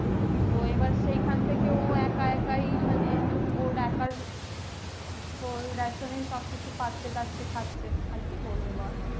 তো আবার সেখান থেকে ওএকা একা ই মানে ওর একার তো ration এই খাচ্ছে দাচ্ছে পাচ্ছে আর কি বলবো বল